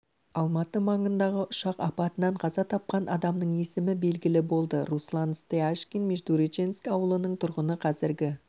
алматы маңындағы ұшақ апатынан қаза тапқан адамның есімі белгілі болды руслан стяжкин междуреченск ауылының тұрғыны қазіргі